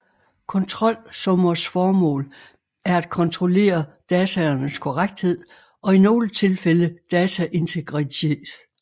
Kontrolsummers formål er at kontrollere dataenes korrekthed og i nogle tilfælde dataintegritet